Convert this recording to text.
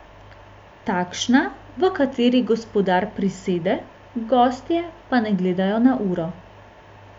Takšna, v kateri gospodar prisede, gostje pa ne gledajo na uro.